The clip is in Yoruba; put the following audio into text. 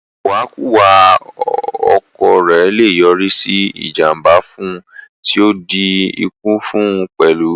Ìwàkuwà ọkọ̀ rẹ̀ le yọrí sí ìjànbá fún un tí o di ikú fún un pẹ̀lú